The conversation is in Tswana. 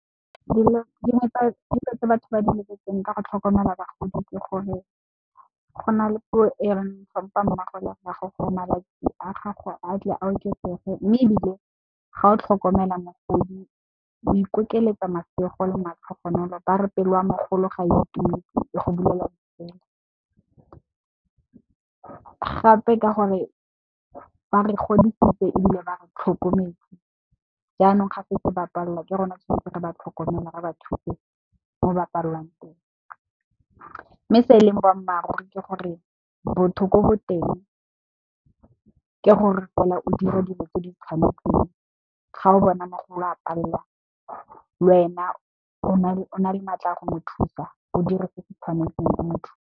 Dingwe tsa dilo tse batho ba di lebeletseng ka go tlhokomela bagodi ke gore go na le puo e reng tlhompha mmago le rrago gore malatsi a gago a tle a oketsege mme, ebile ga o tlhokomela mogodi o ikokeletsa masego le matlhogonolo, ba re pelo ya mogolo ga itumetse e go bulela tsela. Gape ka gore ba re godisitse ebile, ba re tlhokometse jaanong ga setse ba palelwa ke rona tshwanetse re ba tlhokomela re ba thuse mo ba palelwang teng mme se e leng boammaaruri ke gore botho ko go teng ke gore o dire dilo tse di tshwanetseng ga o bona mogolo a palelwa wena o na le maatla a go mo thusa o dire se se tshwanetseng motho.